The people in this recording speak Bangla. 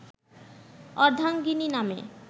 অর্ধাঙ্গিনী নামে